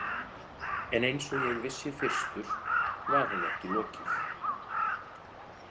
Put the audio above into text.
En eins og ég vissi fyrstur var henni ekki lokið.